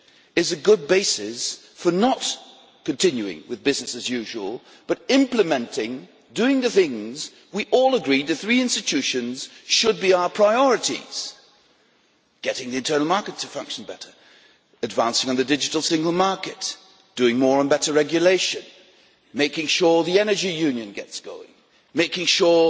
is a good basis for not continuing with business as usual but rather doing the things we all agreed in the three institutions should be our priorities getting the internal market to function better, advancing on the digital single market, doing more and better regulation, making sure the energy union gets going and making sure